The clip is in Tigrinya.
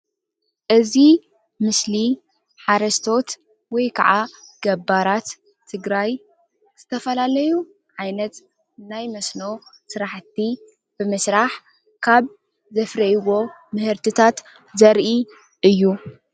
እዚ ምስሊ ሓረስቶት ወይ ካዓ ገባራት ትግራይ ዝተፈላለዩ ዓይነት ናይ መስኖ ስራሕቲ ብምስራሕ ካብ ዘፍርይዎ ምህርቲታት ዘርኢ እዩ